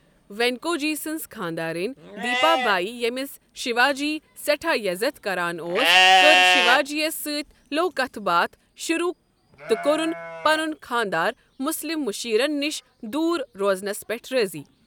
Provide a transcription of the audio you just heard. وینکوجی سٕنٛز خانٛداریٚنۍ، دیپا بایی، ییٚمِس شیواجی سیٹھاہ یزتھ كران اوس، كٔر شیواجی یس سۭتۍ لو کتھ باتھ شروٗع تہٕ کوٚرن پنن خانٛدار مسلم معشیرن نش دوٗر روزنس پٮ۪ٹھ رٲضِی۔